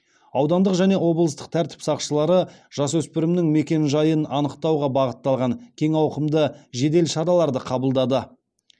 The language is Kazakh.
аудандық және облыстық тәртіп сақшылары жасөспірімнің мекенжайын анықтауға бағытталған кең ауқымды жедел шараларды қабылдады